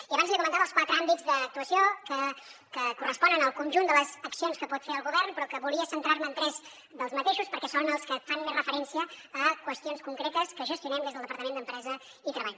i abans li comentava els quatre àmbits d’actuació que corresponen al conjunt de les accions que pot fer el govern però volia centrar me en tres perquè són els que fan més referència a qüestions concretes que gestionem des del departament d’empresa i treball